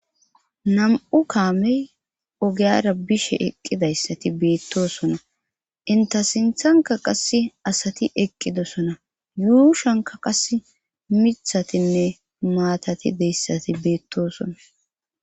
Nam'u kaame ogiyra bishe eqqidayssati beetossona. Entta sinthankka qasse asati eqqidosona. yuushuwankka qasse miththatinne maatati de'iyayssati beetosona.